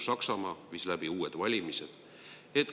Saksamaa viis läbi uued valimised.